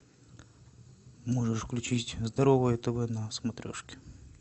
можешь включить здоровое тв на смотрешке